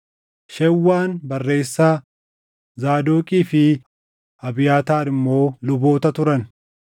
Shewwaan barreessaa, Zaadoqii fi Abiyaataar immoo luboota turan;